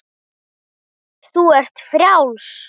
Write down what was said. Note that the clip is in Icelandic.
Þú ert frjáls.